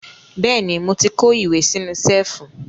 Bẹ́ẹ̀ ni, mo ti kó ìwé sínú ṣẹ́ẹ́fù.